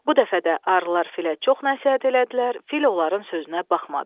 Bu dəfə də arılar filə çox nəsihət elədilər, fil onların sözünə baxmadı.